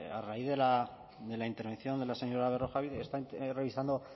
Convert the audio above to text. a raíz de la intervención de la señora berrojalbiz he estado revisando